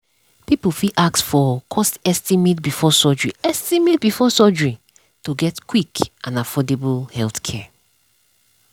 people fit ask for cost estimate before surgery estimate before surgery to get quick and affordable healthcare.